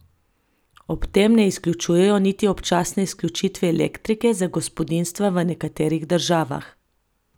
Ob tem ne izključujejo niti občasne izključitve elektrike za gospodinjstva v nekaterih državah.